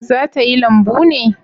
Za ta yi lambu ne?